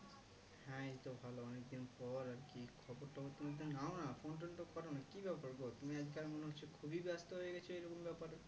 হ্যাঁ এই তো ভালো অনেকদিন পর আরকি খবর টবর তুমি তো নাও না phone tone তো করোনা কি ব্যাপার গো তুমি আজ কাল মনে হচ্ছে খুবই ব্যাস্ত হয়ে গেছো এইরকম ব্যাপারে